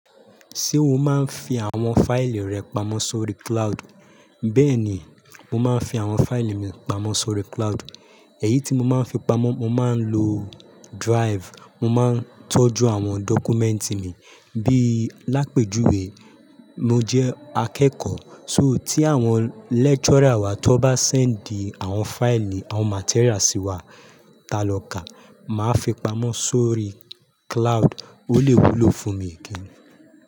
Ṣé o máa ń fi àwọn fáìlì rẹ pamọ́ sórí cloud? Bẹ́ẹ̀ ni, mo máa ń fi àwọn fáìlì mi pamọ́ sórí cloud. Èyí tí mo máa ń fi pamọ́, mo má ń lo drive. Mo máa ń tọ́jú àwọn dọ́kúmẹ́ǹtì mi. Bí lápèjùwe, mo jẹ́ akẹ́kọ̀ọ́. Só tí àwọn lecturer wa tó bá sẹ́ńdì àwọn fáìlì, àwọn materials sí wa tá lọ ká, màá fi pamọ́ sórí cloud. Ó lè wúlò fún mi gan.